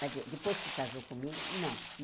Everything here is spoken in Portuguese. Mas eh depois que casou comigo, não.